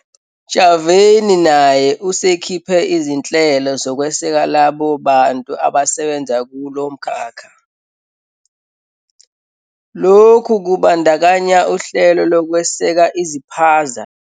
. Ntshavheni naye usekhiphe izinhlelo zokweseka labo bantu abasebenza kulo mkhakha. Lokhu kubandakanya uhlelo lokweseka iziphaza.